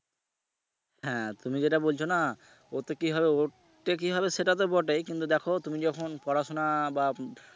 হ্যা তুমি যেটা বলছো না ওতে কি হবে ওতে কি হবে সেটা তো বটেই কিন্তু দেখো তুমি যখন পড়াশুনা বা